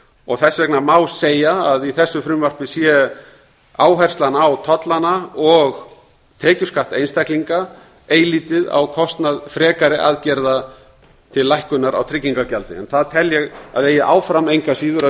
og þess vegna má segja að í þessu frumvarpi sé áherslan á tollana og tekjuskatt einstaklinga eilítið á kostnað frekari aðgerða til lækkunar á tryggingagjaldinu það tel ég að eigi áfram engu að síður að